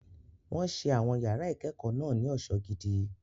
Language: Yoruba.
Wọ́n ṣe àwọn yàrá ìkẹ́kọ̀ọ́ náà ní ọ̀ṣọ́ gidi.